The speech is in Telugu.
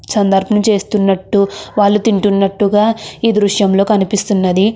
చేస్తున్నట్టు వాళ్ళు తింటున్నట్టుగా ఈ దృశ్యంలో కనిపిస్తున్నది.